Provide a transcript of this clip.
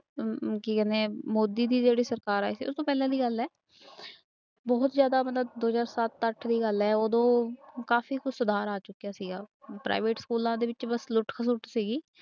ਕੀ ਕਹਿੰਦੇ ਮੋਦੀ ਦੀ ਜਿਹੜੀ ਸਰਕਾਰ ਆਈ ਸੀ ਉਸ ਤੋਂ ਪਹਿਲਾਂ ਦੀ ਗੱਲ ਹੈ ਬਹੁਤ ਜ਼ਿਆਦਾ ਮਤਲਬ ਦੋ ਹਜ਼ਾਰ ਸੱਤ ਅੱਠ ਦੀ ਗੱਲ ਹੈ ਉਦੋਂ ਕਾਫ਼ੀ ਕੁਛ ਸੁਧਾਰ ਆ ਚੁੱਕਿਆ ਸੀਗਾ private ਸਕੂਲਾਂ ਦੇ ਵਿੱਚ ਬਸ ਲੁੱਟ ਖਸੁੱਟ ਸੀਗੀ।